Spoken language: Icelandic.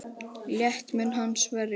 Létt mun hann að sverja.